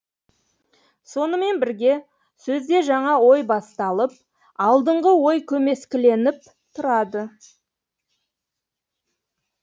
сонымен бірге сөзде жаңа ой басталып алдыңғы ой көмескіленіп тұрады